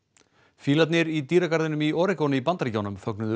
fílarnir í dýragarðinum í í Bandaríkjunum fögnuðu